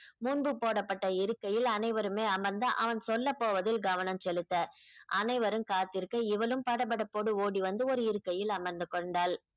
முன்பு போடப்பட்ட இருக்கையில் அனைவருமே அமர்ந்து அவன் சொல்லப் போவதில் கவனம் செலுத்த அனைவரும் காத்திருக்க இவளும் படபடப்போடு ஓடி வந்து ஒரு இருக்கையில் அமர்ந்து கொண்டாள்